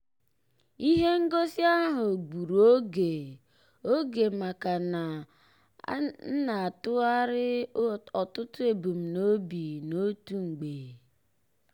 ihe ngosi ahụ gburu oge oge maka na m na-atụgharị ọtụtụ ebumnobi n'otu mgbe.